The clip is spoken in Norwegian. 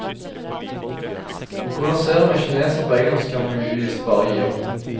Å konversere med kinesere på engelsk kan vi visst bare gi opp.